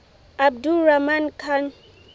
abdur rahman khan